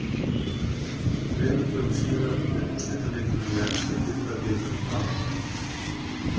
Þremur dögum síðar fer úrslitaleikurinn í enska deildabikarnum fram.